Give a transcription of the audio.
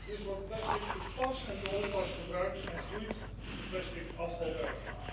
Dus wordt plastic te pas en te onpas gebruikt en groeit de plastic afvalberg.